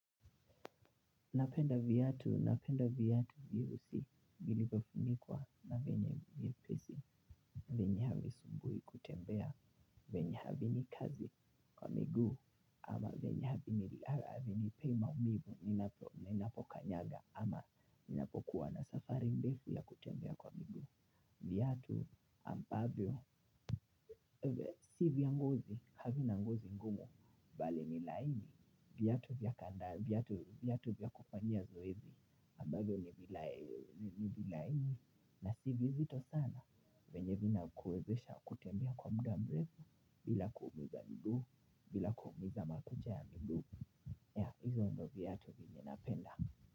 Napenda viatu, napenda viatu virusi, vilivyofunikwa na venye vyepesi, venye havisumbui kutembea, venye havi ni kazi kwa migu, ama venye havinipei maumivu, ninapokanyaga, ama ninapokuwa na safari mdefu ya kutembea kwa migu. Viatu ambavyo, si vya ngozi, havina ngozi ngumu, bali ni laini, viatu vya kanda, viatu vya kufanyia zoezi, ambavyo ni vilaini, na si vizito sana, venye vinakuwezesha kutembea kwa muda mrevu, bila kuumiza miguu, bila kuumiza makucha ya miguu, ya hizo ndo viatu venye napenda.